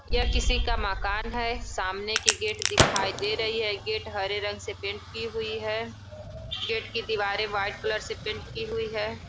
यह किसी का मकान है। सामने की गेट दिखाई दे रही है। ए गेट हरे रंग से पेंट की हुई है। गेट की दीवारे व्हाइट कलर से पेंट की हुई है।